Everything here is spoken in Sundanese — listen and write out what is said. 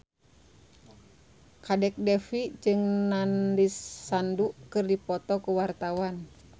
Kadek Devi jeung Nandish Sandhu keur dipoto ku wartawan